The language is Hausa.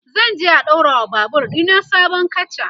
zanje a ɗaura wa Babur ɗina sabon katcha